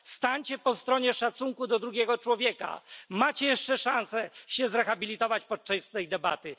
Stańcie po stronie szacunku dla drugiego człowieka. Macie jeszcze szansę się zrehabilitować podczas tej debaty.